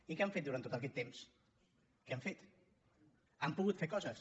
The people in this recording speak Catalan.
i què han fet durant tot aquest temps què han fet han pogut fer coses